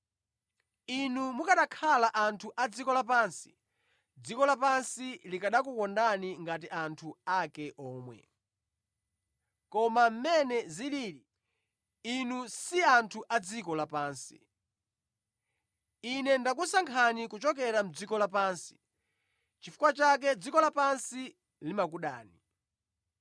Inu mukanakhala anthu a dziko lapansi, dziko lapansi likanakukondani ngati anthu ake omwe. Koma mmene zilili, inu si anthu a dziko lapansi. Ine ndakusankhani kuchokera mʼdziko lapansi, nʼchifukwa chake dziko lapansi limakudani.